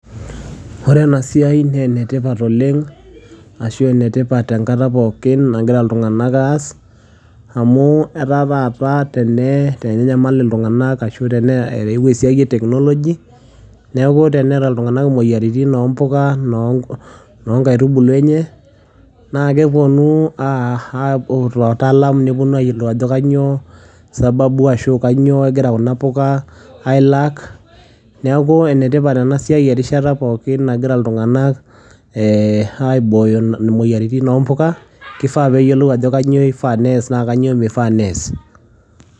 ore ena siia naa ene tipat oleng ashu enetipat oleng enkata pookin nagira iltunganak aas, amu etaa taata tenenayamal iltunganak. amu eewuo esiai e technology neeku teneta iltunagank imoyiaritin ino mpuka ino nkaitubulu enye. naa kepuonu aipot waatalam nepuonu aayiolou ajo sababu ajo kainyioo egira kuna uka ai lack neeku ene tipat enkata pookin, nagira iltunganak aibooyo imoyiaritin oo mpuka. kifaa neyiolou ajo kainyio ifaa nees naa kainyioo mifaa nees.